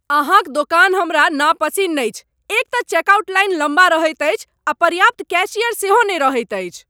अहाँ क दोकान हमरा नपसिन्न अछि एक तँ चेकआउट लाइन लम्बा रहैत अछि आ पर्याप्त कैशियर सेहो नहि रहैत अछि।